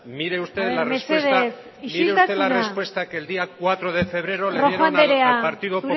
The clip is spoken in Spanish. mesedez isiltasuna rojo andrea mire usted la respuesta que el día cuatro de febrero le dieron al partido